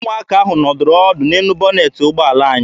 Ụmụaka ahụ nọdụrụ ọdụ n'elu bọnetị ụgbọala anyị.